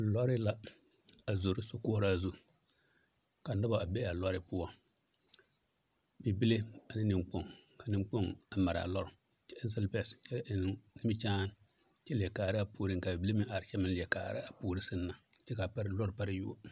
Lɔɔre la a zoro sakoɔraa zu ka nobɔ a be a lɔɔre poɔ bibile ane neŋkpoŋ ka neŋkpoŋ a maraa lɔɔre kyɛ eŋ silipɛs kyɛ eŋ nimikyaan kyɛ leɛ kaaraa puoreŋ kaa bibile meŋ are kyɛ meŋ leɛ kaaraa puore seŋ na kyɛ kaa pare lɔɔre pare yuo.